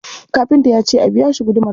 Kafinta ya ce a biya shi gudumarsa.